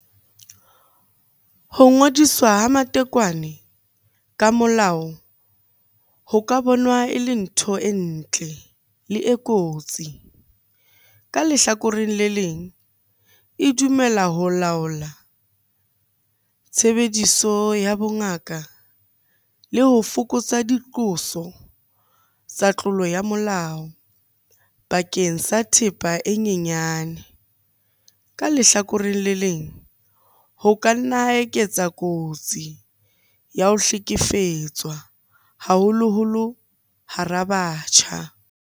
Ho ngodiswa ha matekwane ka molao ho ka bonwa e le ntho e ntle le e kotsi. Ka lehlakoreng le leng, e dumela ho laola tshebediso ya bongaka le ho fokotsa diqoso tsa tlolo ya molao bakeng sa thepa e nyenyane. Ka lehlakoreng le leng, ho ka nna eketsa kotsi ya ho hlekefetswa haholoholo hara batjha.